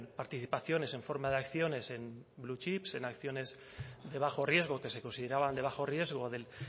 participaciones en forma de acciones en blue chips en acciones de bajo riesgo que se consideraban de bajo riesgo del